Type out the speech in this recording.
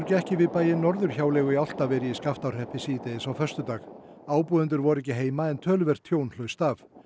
gekk yfir bæinn Norðurhjáleigu í Álftaveri í Skaftárhreppi síðdegis á föstudag ábúendur voru ekki heima en töluvert tjón hlaust af